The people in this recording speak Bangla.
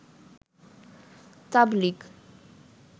তাবলিগ